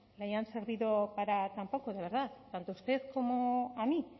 le hayan servido para tan poco de verdad tanto a usted como a mí